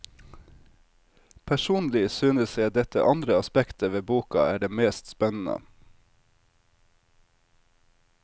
Personlig synes jeg dette andre aspektet ved boka er det mest spennende.